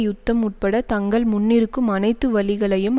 யுத்தம் உட்பட தங்கள் முன்னிருக்கும் அனைத்து வழிகளையும்